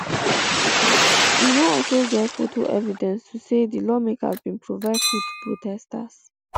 e no also get foto evidence to um say di lawmaker bin provide food um to protesters